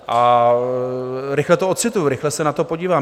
A rychle to ocituji, rychle se na to podívám.